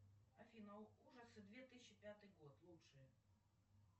афина ужасы две тысячи пятый год лучшее